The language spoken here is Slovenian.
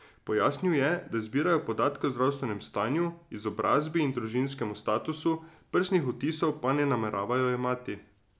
Pojasnil je, da zbirajo podatke o zdravstvenem stanju, izobrazbi in družinskem statusu, prstnih odtisov pa ne nameravajo jemati.